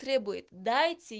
требует дайте